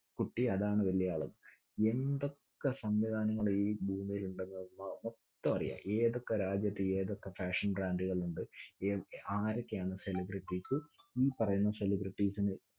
കുട്ടി അതാണ് വല്യേആളെന്ന്. എന്തൊക്കെ സംവിധാനങ്ങളീ ഭൂമീലിണ്ടെന്ന് മൊത്തമറിയാം. ഏതൊക്കെ രാജ്യത്ത് ഏതൊക്കെ fashion brand ടുകൾ ഉണ്ട്. ഏർ ആരൊക്കെയാണ് celebrities സ്സ്. ഈ പറയുന്ന celebrities സിന്റെ